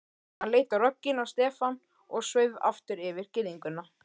Hann leit rogginn á Stefán og sveif aftur yfir girðinguna.